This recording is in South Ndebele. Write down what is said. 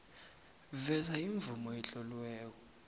veza imvumo etloliweko